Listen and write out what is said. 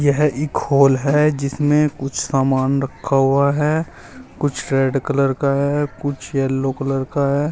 यह एक हॉल है जिसमें कुछ सामान रखा हुआ है कुछ रेड कलर का है कुछ येलो कलर का है।